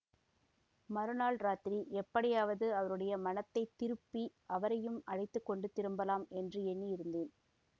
மறுநாள் இராத்திரி எப்படியாவது அவருடைய மனத்தை திருப்பி அவரையும் அழைத்து கொண்டு திரும்பலாம் என்று எண்ணி இருந்தேன்